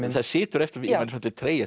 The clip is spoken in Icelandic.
það situr eftir í manni svolítill tregi